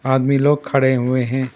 आदमी लोग खड़े हुए हैं।